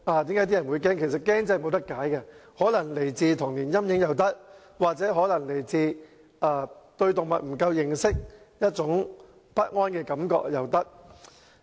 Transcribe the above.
這種恐懼真的無法解釋，可能源自童年陰影，亦可能源自對動物認識不足而產生的不安感覺。